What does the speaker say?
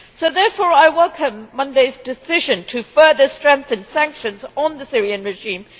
Therefore, I welcome Monday's decision to further strengthen sanctions on the Syrian regime.